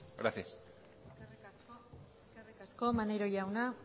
gracias eskerrik asko maneiro jauna